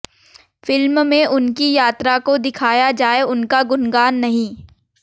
film में उनकी यात्रा को दिखाया जाए उनका गुणगान नहीं